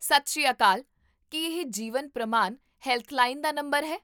ਸਤਿ ਸ੍ਰੀ ਅਕਾਲ! ਕੀ ਇਹ ਜੀਵਨ ਪ੍ਰਮਾਨ ਹੈਲਪਲਾਈਨ ਦਾ ਨੰਬਰ ਹੈ?